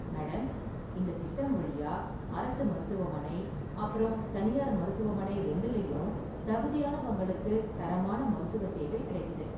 Madam, இந்த திட்டம் வழியா அரசு மருத்துவமனை அப்பறம் தனியார் மருத்துவமனை ரெண்டுலயும் தகுதியானவங்களுக்கு தரமான மருத்துவ சேவை கிடைக்குது.